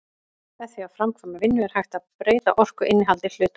með því að framkvæma vinnu er hægt að breyta orkuinnihaldi hluta